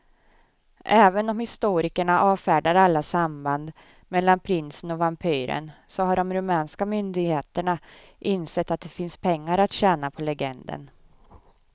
Även om historikerna avfärdar alla samband mellan prinsen och vampyren så har de rumänska myndigheterna insett att det finns pengar att tjäna på legenden.